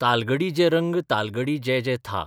तालगडी जे रंग तालगडी जे जे था